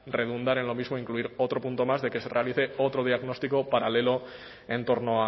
redundar en lo mismo incluir otro punto más de que se realice otro diagnóstico paralelo en torno